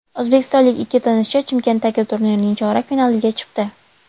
O‘zbekistonlik ikki tennischi Chimkentdagi turnirning chorak finaliga chiqdi.